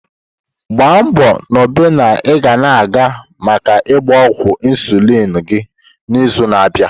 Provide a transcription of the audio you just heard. Gbaa nbo na ị ga-aga maka ịgba ọgwụ insulin gị n'izu na-abịa.